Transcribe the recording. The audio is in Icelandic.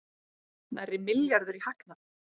Nærri milljarður í hagnað